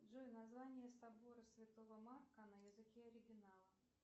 джой название собора святого марка на языке оригинала